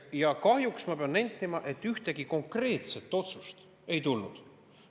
Ja kahjuks ma pean nentima, et ühtegi konkreetset otsust ei tulnud.